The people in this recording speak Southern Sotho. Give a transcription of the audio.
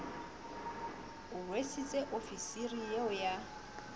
o rwesitsweng ofisiri eo ya